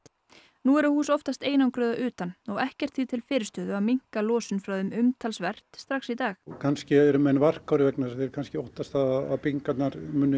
nú eru hús oftast einangruð að utan og ekkert því til fyrirstöðu að minnka losun frá þeim umtalsvert strax í dag kannski eru menn varkárir þeir kannski óttast það að byggingarnar